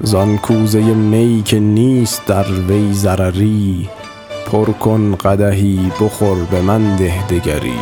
زان کوزه می که نیست در وی ضرری پر کن قدحی بخور به من ده دگری